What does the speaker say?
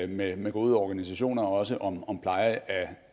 med gode organisationer også om om pleje